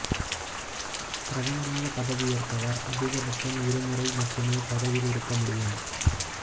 பிரதமராக பதவியேற்பவர் அதிக பட்சம் இரு முறை மட்டுமே பதவியில் இருக்க முடியும்